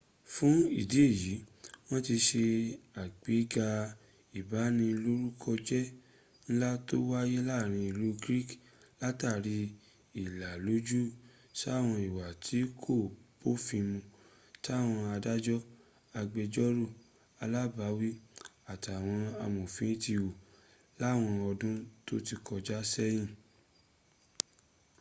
fún ìdí èyí, wọ́n ti se àgbéga ìbanilórúkọjẹ́ ńlá tó wáyé láàrin ìlú greek látara ìlàlójú sáwọn ìwà tí kò bófin mun táwọn adájọ́ agbẹ́jọ́rò alágbàwí àtàwọn amòfin ti hù láwọn ọdún tó ti kọjá sẹ́yìn